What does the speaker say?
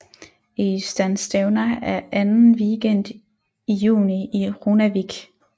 Eystanstevna er anden weekend i juni i Runavík